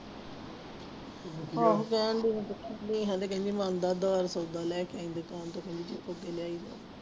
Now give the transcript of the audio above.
ਆਹੋ ਕਹਿੰਦੀ ਨੇਹਾਂ ਤਾਂ ਕਹਿੰਦੀ ਉਧਾਰ ਸੌਦਾ ਲੈ ਕੇ ਆਈਂ ਦੁਕਾਨ ਤੋਂ ਕਹਿੰਦੀ ਜਿੱਥੋਂ ਅੱਗੇ ਲਿਆਈਦਾ।